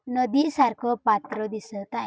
नदी सारखं पात्र दिसत आहे.